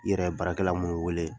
I Yɛrɛ ye baarakɛla mun wele